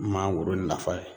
Mangoro nafa ye